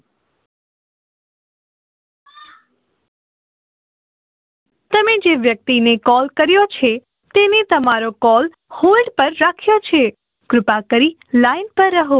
તમે જે વ્યક્તિ ને Call કર્યો છે તેને તમારો call hold પર રાખ્યો છે કૃપા કરી line રહો